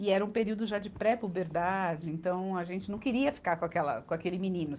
E era um período já de pré-puberdade, então a gente não queria ficar com aquela, com aquele menino.